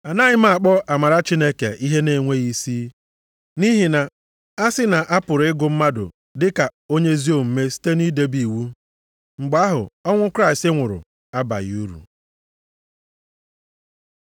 Anaghị m akpọ amara Chineke ihe na-enweghị isi. Nʼihi na a sị na a pụrụ ịgụ mmadụ dị ka onye ezi omume site nʼidebe iwu, mgbe ahụ ọnwụ Kraịst nwụrụ abaghị uru.